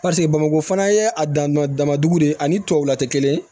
Paseke bamakɔ fana ye a dan damadɔ de ye ani tubabuw la tɛ kelen ye